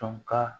Dɔn ka